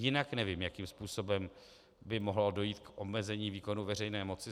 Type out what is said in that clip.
Jinak nevím, jakým způsobem by mohlo dojít k omezení výkonu veřejné moci.